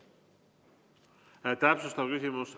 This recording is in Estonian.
Täpsustav küsimus.